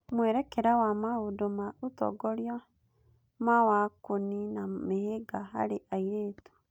Mwerekera wa maũndũ ma ũtongoria ma wa kũniina mĩhĩnga harĩ airĩtu